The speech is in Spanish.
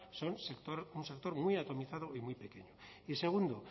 son un sector muy atomizado y muy pequeño y segundo